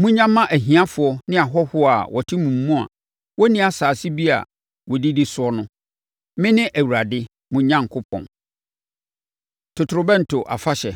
Monnya mma ahiafoɔ ne ahɔhoɔ a wɔte mo mu a wɔnni asase bi a wɔdidi so no. Mene Awurade mo Onyankopɔn!’ ” Totorobɛnto Afahyɛ